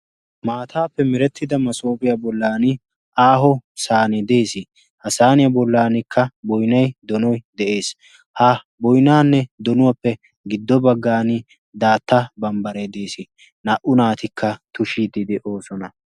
Maataappe merettida masoopiyaa bollan aaho saan dees ha saaniyaa bollankka boinai donoy de'ees. ha boinaanne donuwaappe giddo baggan daatta bambbare dees naa"u naatikka tushiiddii doosona.